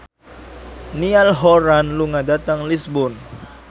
Niall Horran lunga dhateng Lisburn